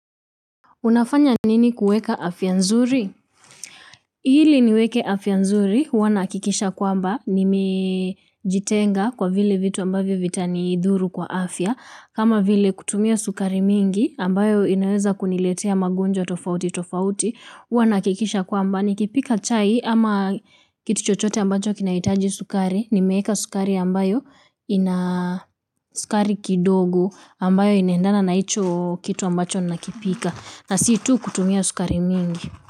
Unafanya nini kuweka afya nzuri? Ili niweke afya nzuri, huwanahakikisha kwamba nimejitenga kwa vile vitu ambavyo vita ni dhuru kwa afya. Kama vile kutumia sukari mingi ambayo inaweza kuniletea magonjwa tofauti tofauti, huwanahakikisha kwamba. Nikipika chai ama kituchochote ambacho kinahitaji sukari, nimeeka sukari ambayo ina sukari kidogo ambayo inaendana na hicho kitu ambacho nakipika. Na situ kutumia sukari mingi.